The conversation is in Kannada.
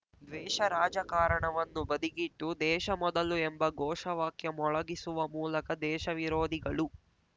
ದ್ವೇಷ ರಾಜಕಾರಣವನ್ನು ಬದಿಗಿಟ್ಟು ದೇಶ ಮೊದಲು ಎಂಬ ಘೋಷ ವಾಕ್ಯ ಮೊಳಗಿಸುವ ಮೂಲಕ ದೇಶ ವಿರೋಧಿಗಳು